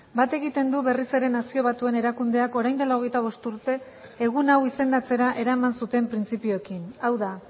bat egiten du berriz ere nazio batuen erakundeak orain dela hogeita bost urte egun hau izendatzera eraman zuten printzipioekin hau da